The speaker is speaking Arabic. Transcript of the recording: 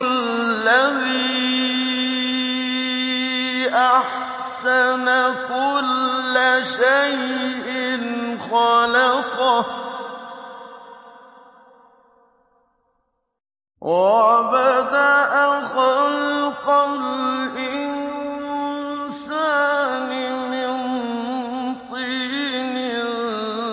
الَّذِي أَحْسَنَ كُلَّ شَيْءٍ خَلَقَهُ ۖ وَبَدَأَ خَلْقَ الْإِنسَانِ مِن طِينٍ